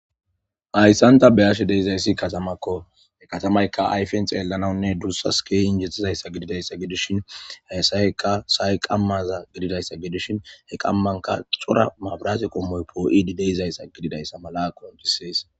Hayssanta beyashe deizayssi katamakko he katamayka ayfen xeellanawunne duussa skeeyin jettizayssa gididayssa gidushin hayasayekka say qammaza gididayssa gidushin he qammanka xora maabraase qommoy poo'idi deizayssa gididayssa mala qonjisees.